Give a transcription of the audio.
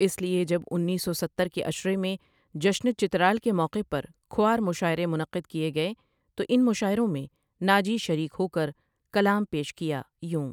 اسلۓجب انیس سو ستر کے عشرے میں جشن چترال کے موقعوں پر کھوار مشاعرے منقعید کیے گۓ تو ان مشاعروں میں ناجی شریک ہوکر کلام پیش کیا یوں ۔